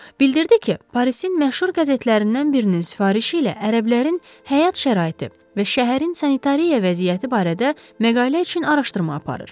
Bildirdi ki, Parisin məşhur qəzetlərindən birinin sifarişi ilə ərəblərin həyat şəraiti və şəhərin sanitariya vəziyyəti barədə məqalə üçün araşdırma aparır.